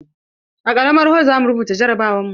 A karamar hol zamu rubuta jarabawar mu.